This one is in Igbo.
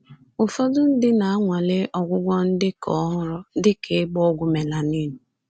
Ụfọdụ ndị na-anwale ọgwụgwọ ndị ka ọhụrụ, dị ka ịgba ọgwụ melanin.